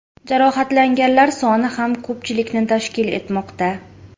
Jarohatlanganlar soni ham ko‘pchilikni tashkil etmoqda.